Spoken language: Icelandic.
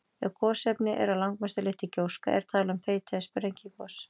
Ef gosefnin eru að langmestu leyti gjóska er talað um þeyti- eða sprengigos.